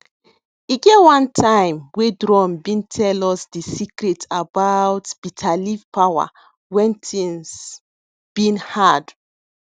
e get one time wey drum been tell us de secret about bitterleaf power wen things been hard